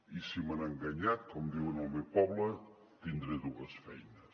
i si m’han enganyat com diuen al meu poble tindré dues feines